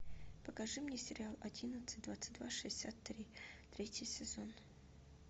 покажи мне сериал одиннадцать двадцать два шестьдесят три третий сезон